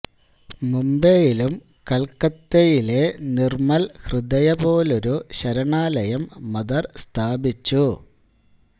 മുംബൈയിലും കൽക്കത്തയിലെ നിർമ്മൽ ഹൃദയ പോലൊരു ശരണാലയം മദർ സ്ഥാപിച്ചു